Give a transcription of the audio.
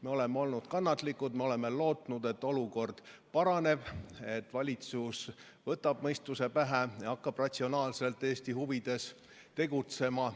Me oleme olnud kannatlikud, me oleme lootnud, et olukord paraneb, et valitsus võtab mõistuse pähe ja hakkab ratsionaalselt Eesti huvides tegutsema.